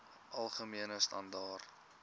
algemene standaar